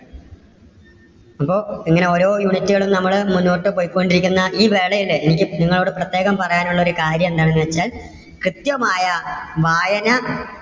ഇപ്പോ ഇങ്ങനെ ഓരോ unit കളും നമ്മള് മുന്നോട്ട് പൊയ്ക്കൊണ്ടിരിക്കുന്ന ഈ വേളയിൽ എനിക്ക് നിങ്ങളോട് പ്രത്യേകം പറയാൻ ഉള്ള ഒരു കാര്യം എന്താണെന്നു വെച്ചാൽ, കൃത്യമായ വായന